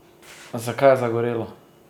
Zakaj je zagorelo?